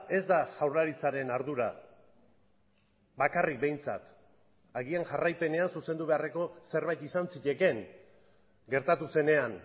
ez da jaurlaritzaren ardura bakarrik behintzat agian jarraipenean zuzendu beharreko zerbait izan zitekeen gertatu zenean